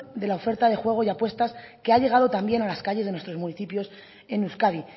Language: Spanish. de la oferta de juego y apuestas que ha llegado también a las calles de nuestros municipios en euskadi